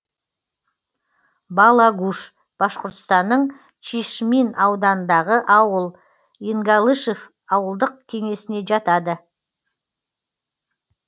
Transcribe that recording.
балагуш башқұртстанның чишмин ауданындағы ауыл енгалышев ауылдық кеңесіне жатады